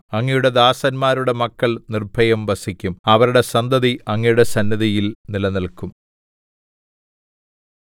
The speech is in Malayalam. അങ്ങയുടെ ദാസന്മാരുടെ മക്കൾ നിർഭയം വസിക്കും അവരുടെ സന്തതി അങ്ങയുടെ സന്നിധിയിൽ നിലനില്ക്കും